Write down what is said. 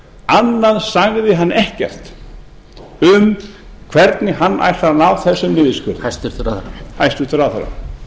annað sagði hann ekkert um hvernig hann ætlar að ná þessum niðurskurði hæstvirtur ráðherra